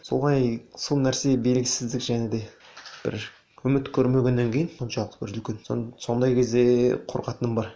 солай сол нәрсе белгісіздік және де бір үміт көрмегеннен кейін соншалық бір үлкен сондай кезде қорқатыным бар